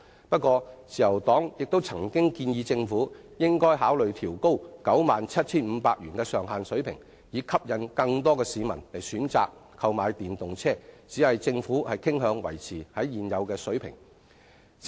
不過，自由黨亦曾建議政府考慮調高 97,500 元首次登記稅的豁免上限，以吸引更多市民選擇購買電動車，只是政府傾向維持現有水平。